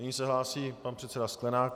Nyní se hlásí pan předseda Sklenák.